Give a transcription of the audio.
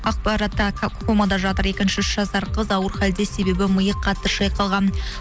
комада жатыр екінші үш жасар қыз ауыр хәлде себебі миы қатты шайқалған